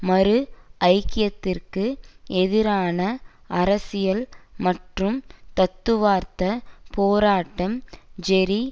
மறு ஐக்கியத்திற்கு எதிரான அரசியல் மற்றும் தத்துவார்த்த போராட்டம் ஜெரி